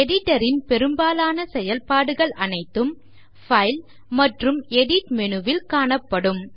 Editor ன் பெரும்பாலான செயல்பாடுகள் அனைத்தும் பைல் மற்றும் எடிட் menu வில் காணப்படும்